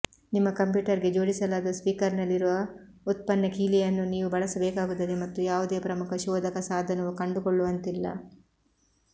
ನಿಮ್ಮ ಕಂಪ್ಯೂಟರ್ಗೆ ಜೋಡಿಸಲಾದ ಸ್ಟಿಕರ್ನಲ್ಲಿರುವ ಉತ್ಪನ್ನ ಕೀಲಿಯನ್ನು ನೀವು ಬಳಸಬೇಕಾಗುತ್ತದೆ ಮತ್ತು ಯಾವುದೇ ಪ್ರಮುಖ ಶೋಧಕ ಸಾಧನವು ಕಂಡುಕೊಳ್ಳುವಂತಿಲ್ಲ